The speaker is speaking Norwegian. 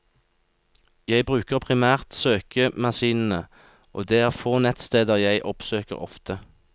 Jeg bruker primært søkemaskinene, og det er få nettsteder jeg oppsøker ofte.